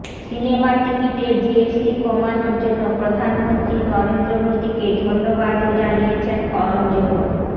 সিনেমার টিকিটে জিএসটি কমানোর জন্য প্রধানমন্ত্রী নরেন্দ্র মোদীকে ধন্যবাদও জানিয়েছেন করণ জোহর